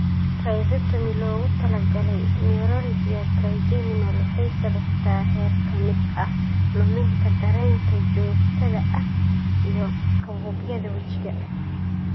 Rhizotomy loogu talagalay neuralgia trigeminal waxay sababtaa heer ka mid ah luminta dareenka joogtada ah iyo kabuubyada wejiga.